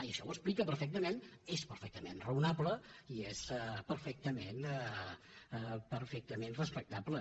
i això ho explica perfectament és perfectament raonable i és perfectament respectable